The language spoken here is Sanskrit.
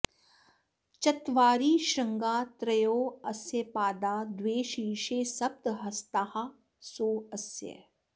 चत्वारि श्रृंगा त्रयो अस्य पादा द्वे शीर्षे सप्त हस्तासो अस्य